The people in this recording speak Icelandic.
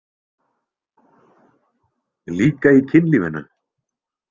Líka í kynlífinu?